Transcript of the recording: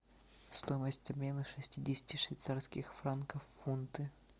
стоимость обмена шестидесяти швейцарских франков в фунты